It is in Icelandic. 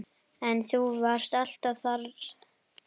En þú varst alltaf þar.